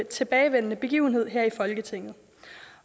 tilbagevendende begivenhed her i folketinget